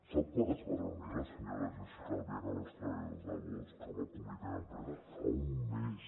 sap quan es va reunir la senyora jéssica albiach amb els treballadors de bosch amb el comitè d’empresa fa un mes